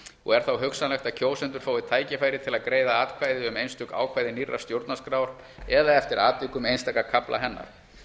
og er þá hugsanlegt að kjósendur fái tækifæri til að greiða atkvæði um einstök ákvæði nýrrar stjórnarskrár eða eftir atvikum einstaka kafla hennar